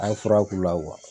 An ye fura k'u la